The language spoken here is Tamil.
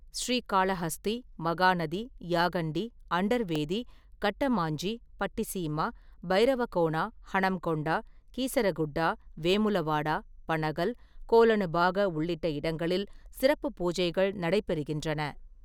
ஸ்ரீகாளஹஸ்தி, மகாநதி, யாகண்டி, அண்டர்வேதி, கட்டமாஞ்சி, பட்டிசீமா, பைரவகோனா, ஹனம்கொண்டா, கீசரகுட்டா, வேமுலவாடா, பனகல், கோலனுபாக உள்ளிட்ட இடங்களில் சிறப்பு பூஜைகள் நடைபெறுகின்றன.